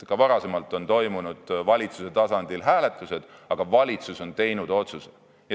Ka varem on valitsuse tasandil toimunud hääletused, aga valitsus on teinud otsused.